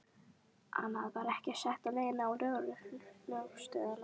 Annað var ekki sagt á leiðinni á lögreglustöðina.